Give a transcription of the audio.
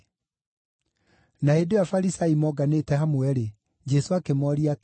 Na hĩndĩ ĩyo Afarisai monganĩte hamwe-rĩ, Jesũ akĩmooria atĩrĩ,